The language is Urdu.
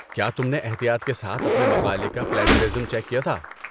کیا تم نے احتیاط کے ساتھ اپنے مقالے کا پلیجرازم چیک کیا تھا؟